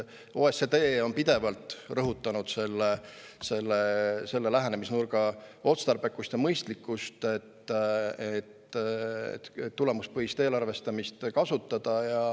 OECD on pidevalt rõhutanud selle lähenemisnurga otstarbekust ja mõistlikkust ning soovitanud tulemuspõhist eelarvestamist kasutada.